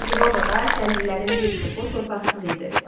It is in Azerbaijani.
Çünki Romada kəndlilərin bir çoxu torpaqsız idi.